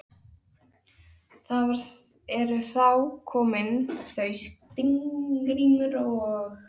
Þar eru þá komin þau Steingrímur og